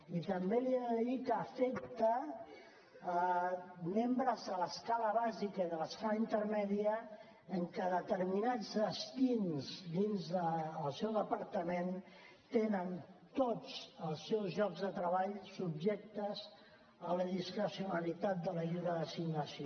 i també li he de dir que afecta membres de l’escala bàsica i de l’escala intermèdia perquè determinats destins dins del seu departament tenen tots els seus llocs de treball subjectes a la discrecionalitat de la lliure designació